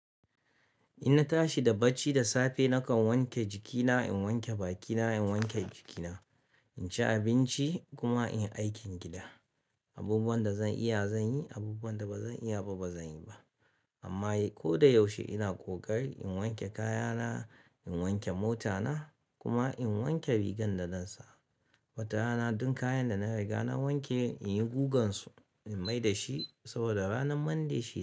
In na tashi da bacci da safe, nakan wanke jikina, in wanke bakina, in wanke jikina, in ci abinci kuma in yi aikin gida. Abubuwan da zan iya zan yi, abubuwan da ba zan iya ba, ba zan yi ba. Amma ko da yaushe ina kokari in wanke kayana, in wanke motana kuma in wanke rigar da zan sa. Wata rana duk kayan da na riga na wanke in yi gugan su in mai da shi saboda ranar Monday shi ya.